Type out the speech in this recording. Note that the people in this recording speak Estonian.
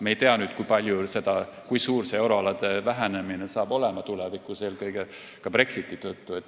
Me ei tea, kui suur on eurorahade vähenemine tulevikus, eelkõige Brexiti tõttu.